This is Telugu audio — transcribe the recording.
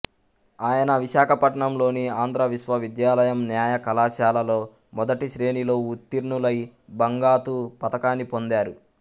ఆయన విశాఖపట్నం లోని ఆంధ్ర విశ్వవిద్యాలయం న్యాయ కళాశాలలో మొదటి శ్రేణిలోఉత్తీర్ణులై బంగాతు పతకాన్ని పొందారు